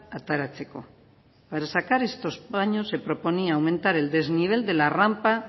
ateratzeko para sacar estos baños se proponía aumentar el desnivel de la rampa